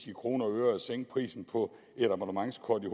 i kroner og øre at sænke prisen på et abonnementskort i